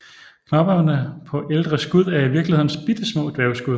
Knopperne på ældre skud er i virkeligheden bittesmå dværgskud